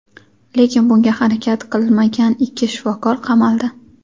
lekin bunga harakat qilmagan ikki shifokor qamaldi.